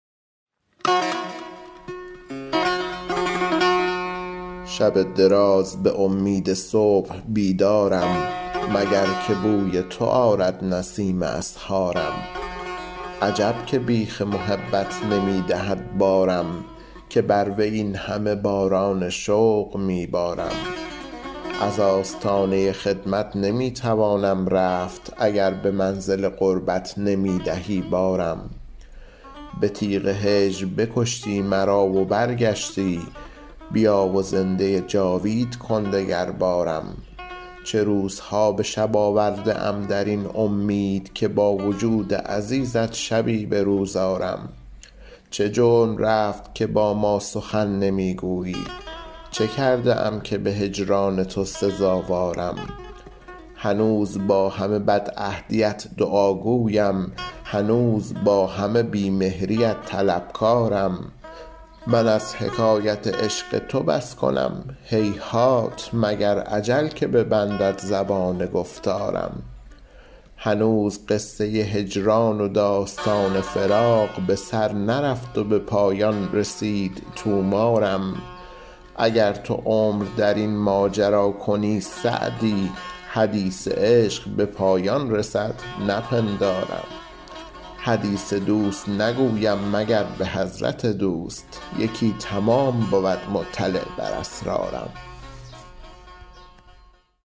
شب دراز به امید صبح بیدارم مگر که بوی تو آرد نسیم اسحارم عجب که بیخ محبت نمی دهد بارم که بر وی این همه باران شوق می بارم از آستانه خدمت نمی توانم رفت اگر به منزل قربت نمی دهی بارم به تیغ هجر بکشتی مرا و برگشتی بیا و زنده جاوید کن دگربارم چه روزها به شب آورده ام در این امید که با وجود عزیزت شبی به روز آرم چه جرم رفت که با ما سخن نمی گویی چه کرده ام که به هجران تو سزاوارم هنوز با همه بدعهدیت دعاگویم هنوز با همه بی مهریت طلبکارم من از حکایت عشق تو بس کنم هیهات مگر اجل که ببندد زبان گفتارم هنوز قصه هجران و داستان فراق به سر نرفت و به پایان رسید طومارم اگر تو عمر در این ماجرا کنی سعدی حدیث عشق به پایان رسد نپندارم حدیث دوست نگویم مگر به حضرت دوست یکی تمام بود مطلع بر اسرارم